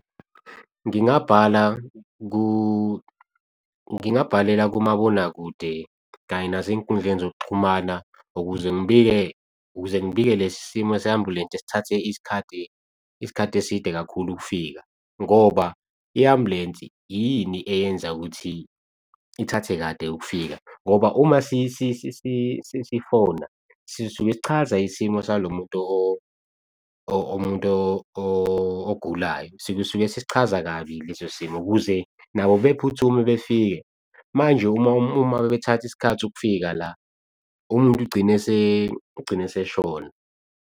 Ngingabhala ngingabhalela kumabonakude kanye nasey'nkundleni zokuxhumana, ukuze ngibike ukuze ngibike lesi simo se ambulense esithathe isikhathi eside kakhulu ukufika ngoba i-ambulensi yini eyenza ukuthi ithathe kade ukufika. Ngoba uma sifona sisuke sichaza isimo salo muntu umuntu ogulayo sisuke sisichaza kabi leso simo ukuze nabo bephuthume befike. Manje uma bebethatha isikhathi ukufika la umuntu ugcine agcine eseshona.